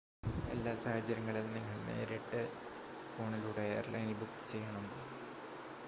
എല്ലാ സാഹചര്യങ്ങളിലും നിങ്ങൾ നേരിട്ട് ഫോണിലൂടെ എയർലൈനിൽ ബുക്ക് ചെയ്യണം